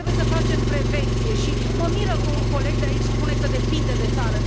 Trebuie să facem prevenție și mă miră că un coleg de aici spune că depinde de țară.